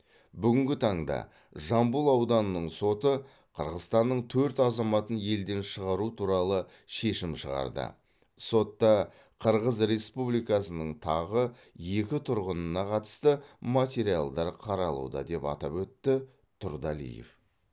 бүгінгі таңда жамбыл ауданының соты қырғызстанның төрт азаматын елден шығару туралы шешім шығарды сотта қырғыз республикасының тағы екі тұрғынына қатысты материалдар қаралуда деп атап өтті тұрдалиев